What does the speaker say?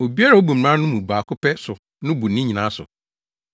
Obiara a obu mmara no mu baako pɛ so no bu ne nyinaa so.